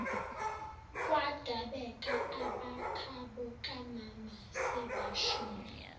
kwadabeka abakhabokamama sebashona